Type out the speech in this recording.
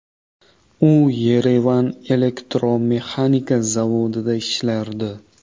U Yerevan elektromexanika zavodida ishlardi.